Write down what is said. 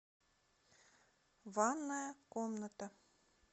ванная комната